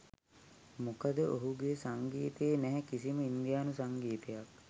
මොකද ඔහුගේ සංගීතයේ නැහැ කිසිම ඉන්දියානු සංගීතයක්.